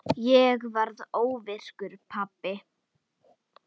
Ég varð óvirkur pabbi.